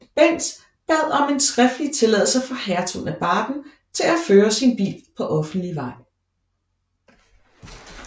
Benz bad om en skriftlig tilladelse fra Hertugen af Baden til at føre sin bil på offentlig vej